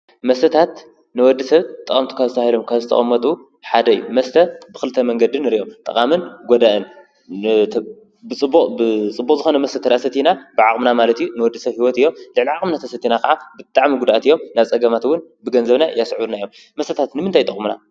መሰታት ንወዲ ሰብ ጥምቱ ካዝተሂሎም ካዝተቐመጡ ሓደይ መስተ ብኽልተ መንገድን ርዮም ጠቓምን ጐዳእንብጽቦዝኾመስተተዳ ሰቲና ብዓቕምና ማለቲ ንወድሰብ ሕይወት እዮም ልዕሊዓቕሚ ነተሰቲና ኸዓ ብጥዕሚይጕዳእት እዮም ናጸገማትውን ብገንዘብና ያስዑናዮም መሰታት ንምንተኣ ይጠቕሙና?